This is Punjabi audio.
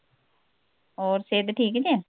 ਹੋਰ ਸੇਹਤ ਠੀਕ ਜੇ